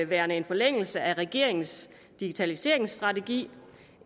værende en forlængelse af regeringens digitaliseringsstrategi